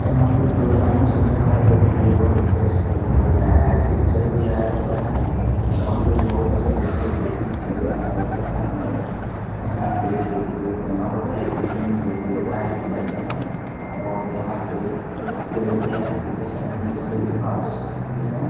यहाँ पे प्रोग्राम चल रहा है जो कि बोहत गेस्ट लोग आए हैं टीचर भी आये हैं और भी बोहत से बच्चे देखने के लिए आए हुए हैं और यहाँ पे जो कि बना हुआ है बिल्डिंग जो कि भाइट कलर में है और यहाँ पे पेड़ भी हैं पीछे साइड नीचे घास भी है।